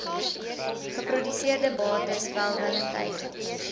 geproduseerde bates welwillendheid